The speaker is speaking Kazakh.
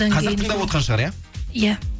қазір тыңдап отырған шығар иә иә